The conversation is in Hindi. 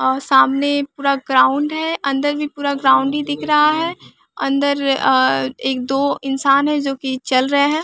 और सामने पूरा ग्राउंड है। अंदर भी पूरा ग्राउंड ही दिख रहा है। अंदर एक दो इंसान हैं जो कि चल रहे है।